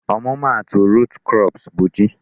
Ọmụma atụ root crops bụ ji